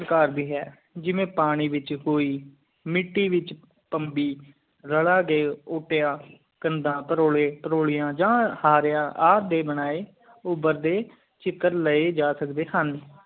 ਘਰ ਦਿ ਹੈ ਜਿਵੇਂ ਪਾਣੀ ਵਿਛ ਕੋਈ ਮਿੱਟੀ ਵਿਚ ਪੰਮਬੀ ਰਲਾ ਦੇਵ ਓਟਾਯਾ ਕਾਂਡ ਪ੍ਰੋਲੇ ਪ੍ਰੋਲਿਆਂ ਜਾ ਹਾਰ੍ਯ ਆਪ ਡੇ ਬਣਾਏ ਊਬਰਦੇ ਚਿਕਾਰਦੇ ਲਾਏ ਜਾ ਸਕਦੈ ਹਨ